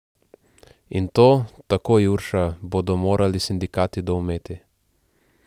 In to, tako Jurša, bodo morali sindikati doumeti.